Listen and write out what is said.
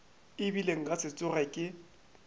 ebile nka se tsoge ke